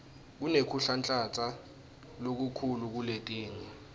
kunekuhlanhlatsa lokukhulu kuletinye